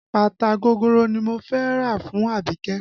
Bàtà gogoro ni mo fẹ́ rà fún Abike